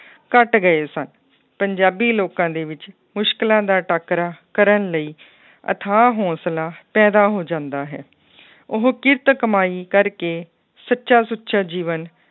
ਘੱਟ ਗਏ ਸਨ, ਪੰਜਾਬੀ ਲੋਕਾਂ ਦੇ ਵਿੱਚ ਮੁਸ਼ਕਲਾਂ ਦਾ ਟਾਕਰਾ ਕਰਨ ਲਈ ਅਥਾਹ ਹੌਂਸਲਾ ਪੈਦਾ ਹੋ ਜਾਂਦਾ ਹੈ ਉਹ ਕਿਰਤ ਕਮਾਈ ਕਰਕੇ ਸੱਚਾ ਸੁੱਚਾ ਜੀਵਨ